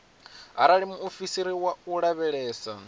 arali muofisiri wa u lavhelesa